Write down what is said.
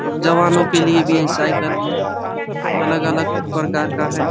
और जवानों के लिए भी ये साइकिल अलग- अलग परकार का हैं।